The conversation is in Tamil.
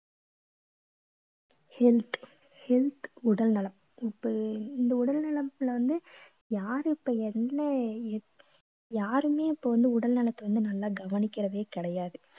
health health உடல்நலம் இப்ப இந்த உடல் நலம்ல வந்து யாரு இப்ப என்ன என்~ யாருமே இப்ப வந்து உடல் நலத்தை வந்து நல்லா கவனிக்கிறதே கிடையாது